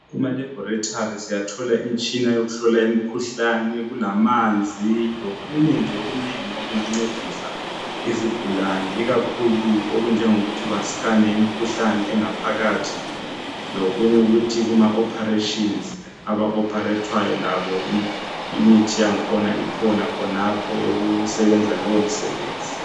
KumaLaboratory siyathola imitshina yokuhlola imikhuhlane. Kulamanzi, lokunye nje okunengi okungancedisa izigulane. Ikakhulu okunjengokuthi bascane imikhuhlane engaphakathi. Lokunye ukuthi kumaoperations, abaoperethwayo labo, imithi yakhona ikhona, khonapho, eyokusebenza leyomisebenzi.